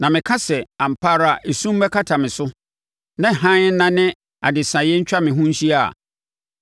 Na meka sɛ, “Ampa ara esum mmɛkata me so na hann nnane adesaeɛ ntwa me ho nhyia a,”